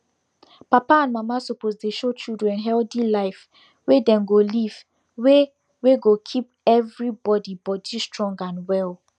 papa and mama suppose dey show children healthy life wey dem go live wey wey go keep everybody body strong and well